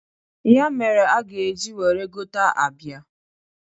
Ya mere a ga-eji were gota abịa.